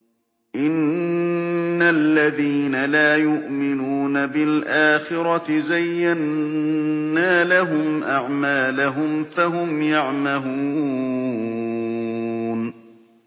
إِنَّ الَّذِينَ لَا يُؤْمِنُونَ بِالْآخِرَةِ زَيَّنَّا لَهُمْ أَعْمَالَهُمْ فَهُمْ يَعْمَهُونَ